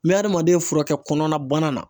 N bɛ adamaden fura kɛ kɔnɔnabana na.